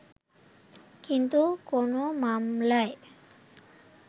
কিন্তু কোন মামলায়